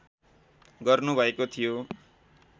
गर्नु भएको थियो